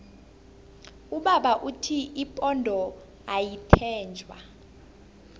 ubaba uthi ipondo ayitjentjwa